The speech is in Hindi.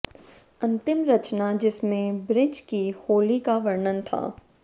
अंतिम रचना जिसमें ब्रज की होली का वर्णन था